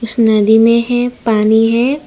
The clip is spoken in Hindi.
नदी में है पानी है।